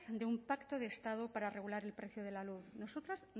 de un pacto de estado para regular el precio de la luz nosotras